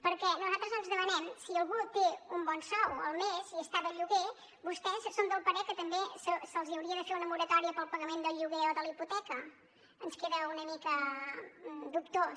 perquè nosaltres ens demanem si algú té un bon sou al mes i està de lloguer vostès són del parer que també se’ls hauria de fer una moratòria per al pagament del lloguer o de la hipoteca ens queda una mica dubtós